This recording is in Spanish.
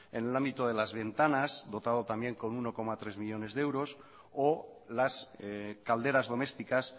en el ámbito de las ventanas dotado también con uno coma tres millónes de euros o las calderas domésticas